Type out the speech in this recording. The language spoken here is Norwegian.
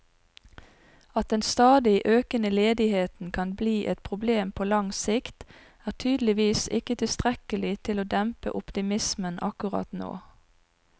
At den stadig økende ledigheten kan bli et problem på lang sikt, er tydeligvis ikke tilstrekkelig til å dempe optimismen akkurat nå.